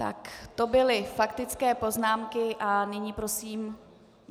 Tak to byly faktické poznámky a nyní prosím...